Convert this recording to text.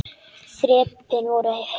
Þrepin voru hrein.